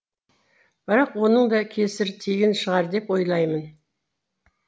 бірақ оның да кесірі тиген шығар деп ойлаймын